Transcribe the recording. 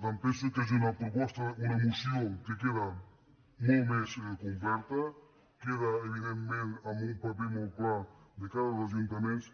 per tant penso que és una moció que queda molt més complerta queda evidentment amb un paper molt clar de cara als ajuntaments